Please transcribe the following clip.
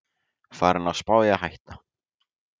Farinn að spá í að hætta